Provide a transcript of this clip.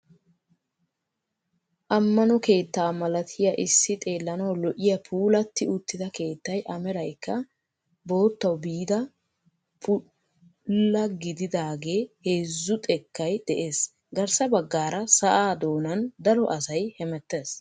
Amano keettaa malatiyaa issi xeellanawu lo"iyaa puulatti uttida keettay a meraykka boottawu biida bulla gididagee heezzu xeekkay de'ees. Garssa baggaara sa'aa doonan daro asay hemettees.